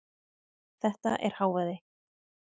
Þetta er hávaði.